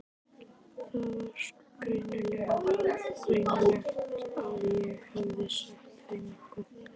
Það var sko greinilegt að ég hefði sagt þeim eitthvað.